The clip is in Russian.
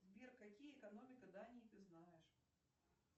сбер какие экономика дании ты знаешь